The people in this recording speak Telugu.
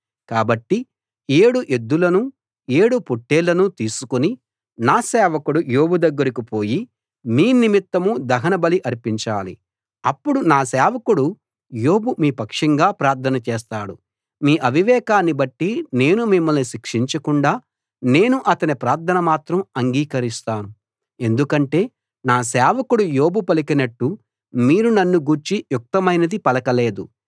కాబట్టి ఏడు ఎద్దులను ఏడు పొట్టేళ్లను తీసుకుని నా సేవకుడు యోబు దగ్గరికి పోయి మీ నిమిత్తం దహనబలి అర్పించాలి అప్పుడు నా సేవకుడు యోబు మీ పక్షంగా ప్రార్థన చేస్తాడు మీ అవివేకాన్ని బట్టి నేను మిమ్మల్ని శిక్షించకుండా నేను అతని ప్రార్థన మాత్రం అంగీకరిస్తాను ఎందుకంటే నా సేవకుడు యోబు పలికినట్లు మీరు నన్ను గూర్చి యుక్తమైనది పలక లేదు